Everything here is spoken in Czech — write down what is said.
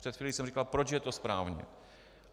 Před chvílí jsem říkal, proč je to správně.